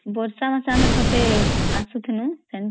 ବର୍ଷା ମାସ ଠତେ ଅସୁଥିନୁ centre ରୁ